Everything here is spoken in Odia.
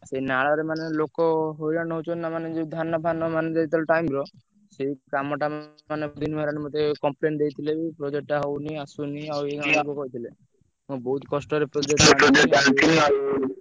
ସେ ନାଳରେ ମାନେ ଲୋକ ହଇରାଣ ହଉଛନ୍ତି ନାଁ ମାନେ ଯୋଉ ଧାନ ଫାନ ମାନେ ଯେତେବେଳେ ସେଇ କାମ ଟା ମତେ complain ଦେଇଥିଲେ ବି project ଟା ହଉନି ଆସୁନି ଆଉ ମୁଁ ବହୁତ କଷ୍ଟରେ project ଟା ଆଣିଥିଲି ଆଉ ।